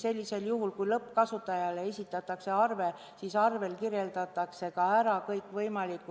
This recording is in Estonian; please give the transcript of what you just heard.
Sellisel juhul, kui lõppkasutajale esitatakse arve, siis märgitakse arvel ära kõikvõimalik